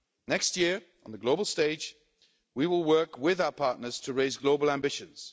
Next year, on the global stage, we will work with our partners to raise global ambitions.